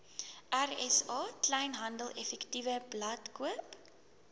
rsa kleinhandeleffektewebblad koop